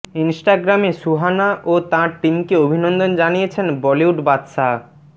ইনস্টাগ্রামে সুহানা ও তাঁর টিমকে অভিনন্দন জানিয়েছেন বলিউড বাদশাহ